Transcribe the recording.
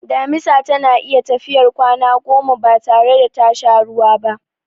Damisa tana iya tafiyar kwana goma batare da tasha ruwa ba.